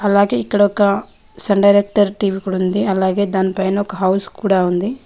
అలాగే ఇక్కడ ఒక సన్ డైరెక్టర్ టీవీ ఉంది అలాగే దాని పైన ఒక హౌస్ కూడా ఉంది.